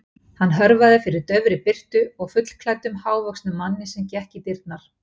Hann hörfaði fyrir daufri birtu og fullklæddum, hávöxnum manni sem gekk í dyrnar.